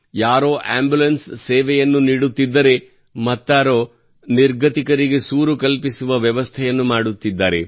ಯಾರೋ ಆಂಬ್ಯುಲೆನ್ಸ್ ಸೇವೆಯನ್ನು ನೀಡುತ್ತಿದ್ದರೆ ಮತ್ತಾರೋ ನಿರ್ಗತಿಕರಿಗೆ ಸೂರು ಕಲ್ಪಿಸುವ ವ್ಯವಸ್ಥೆ ಮಾಡುತ್ತಿದ್ದಾರೆ